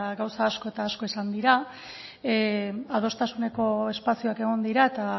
gauza asko eta asko esan dira adostasuneko espazioak egon dira eta